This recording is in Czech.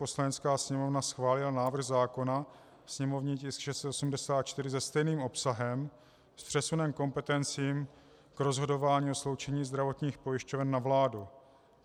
Poslanecká sněmovna schválila návrh zákona, sněmovní tisk 684, se stejným obsahem s přesunem kompetencí k rozhodování o sloučení zdravotních pojišťoven na vládu.